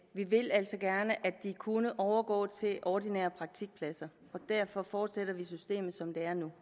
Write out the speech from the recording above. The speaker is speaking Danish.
vi vil altså gerne at de kunne overgå til ordinære praktikpladser og derfor fortsætter vi system som der er nu